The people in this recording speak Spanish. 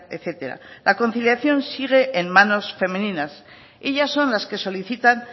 etcétera la conciliación sigue en manos femeninas ellas son las que solicitan